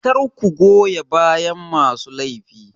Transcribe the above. Kar ku goya bayan masu laifi.